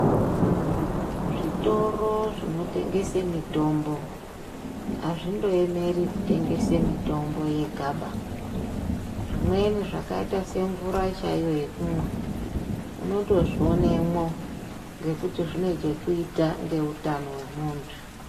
Zvitoro zvinotengesa mitombo azvindoyemeri kutengesa mitombo yegaba. Zvimweni zvakaita semvura chaiyo yekumwa unotozvionemwo ngekuti zvine chekuita ngeutano wemuntu.